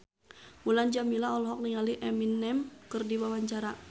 Mulan Jameela olohok ningali Eminem keur diwawancara